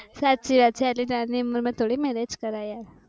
સાચી વાત છે આટલી નાની ઉમર માં થોડી marriage કરાય યાર